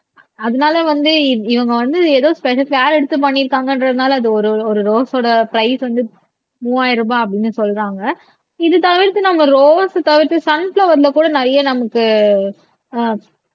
அதனால வந்து இவங்க வந்து ஏதோ கேர் எடுத்து பண்ணி இருக்காங்கன்றதுனால அது ஒரு ஒரு ரோஸ் ஓட பிரைஸ் வந்து மூவாயிரம் ரூபாய் அப்படின்னு சொல்றாங்க இது தவிர்த்து நாங்க ரோஸ் தவிர்த்து சன்ப்பிளார்ல கூட நிறைய நமக்கு அஹ்